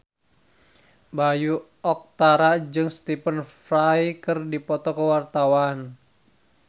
Bayu Octara jeung Stephen Fry keur dipoto ku wartawan